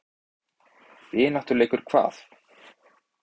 Vináttuleikur hvað?